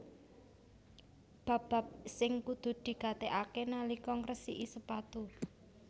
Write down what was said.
Bab bab sing kudu digatekaké nalika ngresiki sepatu